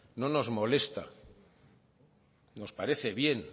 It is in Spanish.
no nos molesta nos parece bien